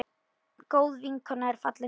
Góð vinkona er fallin frá.